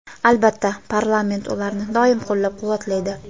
albatta parlament ularni doim qo‘llab-quvvatlaydi.